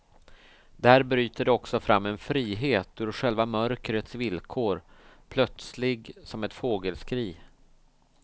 Där bryter det också fram en frihet ur själva mörkrets villkor, plötslig som ett fågelskri.